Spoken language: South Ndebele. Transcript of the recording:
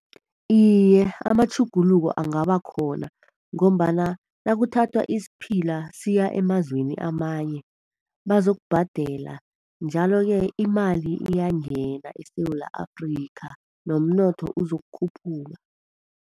Iye, amatjhuguluko angabakhona ngombana nakuthathwa isiphila siya emazweni amanye bazokubhadela, njalo-ke imali iyangena eSewula Afrika nomnotho uzokukhuphuka.